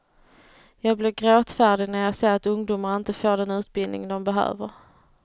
Jag blir gråtfärdig när jag ser att ungdomar inte får den utbildning de behöver.